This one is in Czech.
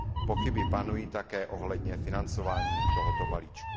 Pochyby panují také ohledně financování tohoto balíčku.